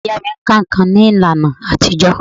Ìyá ìyá mí máà ka nǹkan ní ìlànà àtijọ́.